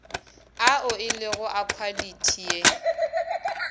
ao elego a khwalithi ye